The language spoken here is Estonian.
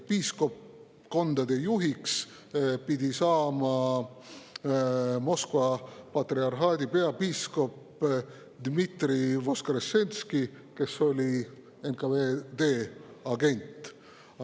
Piiskopkondade juhiks pidi saama Moskva patriarhaadi peapiiskop Dmitri Voskressenski, kes oli NKVD agent.